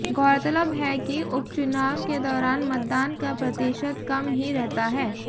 ग़ौरतलब है कि उपचुनाव के दौरान मतदान का प्रतिशत कम ही रहता है